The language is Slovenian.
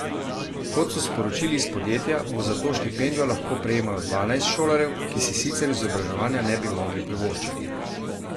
Kot so sporočili iz podjetja, bo zato štipendijo lahko prejemalo dvanajst šolarjev, ki si sicer izobraževanja ne bi mogli privoščiti.